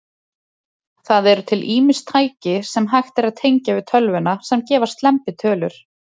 Það eru til ýmis tæki, sem hægt er að tengja við tölvuna, sem gefa slembitölur.